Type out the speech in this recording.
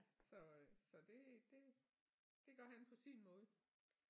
Så øh så det det det gør han på sin måde